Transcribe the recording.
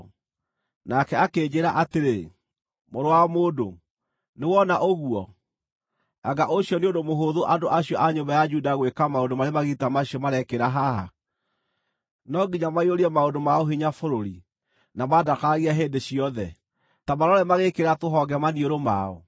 Nake akĩnjĩĩra atĩrĩ, “Mũrũ wa mũndũ, nĩwona ũguo? Anga ũcio nĩ ũndũ mũhũthũ andũ acio a nyũmba ya Juda gwĩka maũndũ marĩ magigi ta macio marekĩra haha? No nginya maiyũrie maũndũ ma ũhinya bũrũri na mandakaragie hĩndĩ ciothe? Ta marore magĩĩkĩra tũhonge maniũrũ mao!